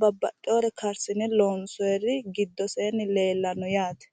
babbaxxewoore karsine loonsoyiiri giddoseenni leellanno yaate.